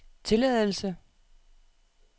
tilladelse